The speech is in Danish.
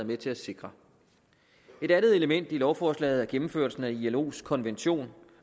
med til at sikre et andet element i lovforslaget er gennemførelsen af ilos konvention